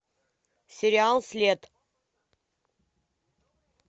сериал след